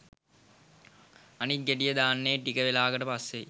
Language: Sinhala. අනිත් ගෙඩිය දාන්නේ ටික වෙලාවකට පස්‌සෙයි